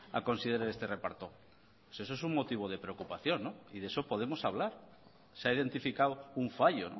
a considerar este reparto eso es un motivo de preocupación y de eso podemos hablar se ha identificado un fallo